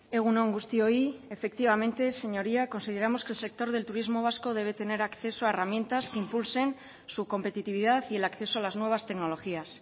egun on guztioi efectivamente señoría consideramos que el sector del turismo vasco debe tener acceso a herramientas que impulsen su competitividad y el acceso a las nuevas tecnologías